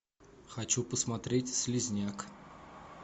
хочу посмотреть слизняк